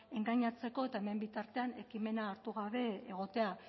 engainatzeko eta hemen bitartean ekimena hartu gabe egotea